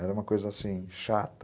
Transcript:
Era uma coisa assim, chata.